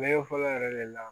Ɲɛgɛn fɔlɔ yɛrɛ de la